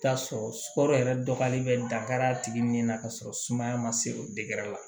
I bi taa sɔrɔ sukaro yɛrɛ dɔgɔyalen bɛ dankari a tigi ni na ka sɔrɔ sumaya ma se o la